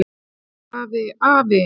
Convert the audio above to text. Afi, afi, afi.